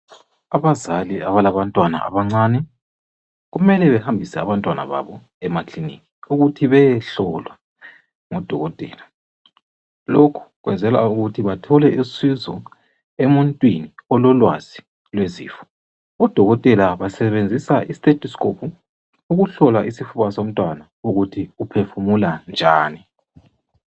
Abazali abalabantwana abancane, kumele behambise abantwana babo emakiliniki ukuthi bayehlolwa ngudokotela. Lokhu kwenzelwa ukuthi bathole isifiso, emuntwini ololwazi lwezifo. Odokotela basebenzisa istestoscope ukuhlola isifuba somntwana, ukuthi uphefumula njani.